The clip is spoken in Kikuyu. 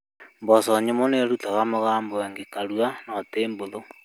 Mboco nyũmũ nĩrutaga mũgambo ĩngĩkario no tihũthũ